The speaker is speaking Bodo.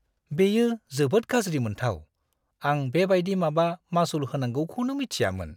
बेयो जोबोद गाज्रि मोनथाव! आं बेबायदि माबा मासुल होनांगौखौनो मिथियामोन!